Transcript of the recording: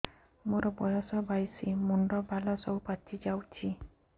ମୋର ବୟସ ବାଇଶି ମୁଣ୍ଡ ବାଳ ସବୁ ପାଛି ଯାଉଛି